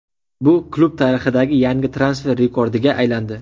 Bu klub tarixidagi yangi transfer rekordiga aylandi.